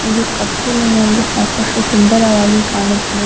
ಇದು ಕತ್ತಿಲೆನಲ್ಲಿ ಸಾಕಷ್ಟು ಸುಂದರವಾಗಿ ಕಾಣುತ್ತಿದೆ